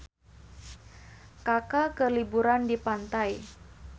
Kaka keur liburan di pantai